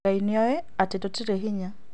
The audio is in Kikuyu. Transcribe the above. Ngai nioĩ atĩ tũtirĩ hinya